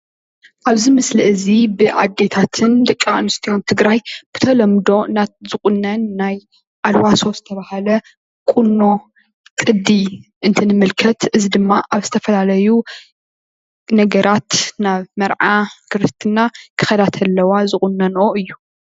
ኣብዚ ምስሊ እዚ ብኣዴታትን ደቂ ኣነስትዮን ትግራይ ብተለምዶ ዝቁነን ናይ ኣልባሶ ዝተባሃለ ቁኖ ቅዲ እንትንምልከት እዚ ድማ ኣብ ዝተፈላለዩ ነገራት ናብ መርዓ ክርስትና ክከዳ እንተለዋ ዝቁነነኦ እዩ፡፡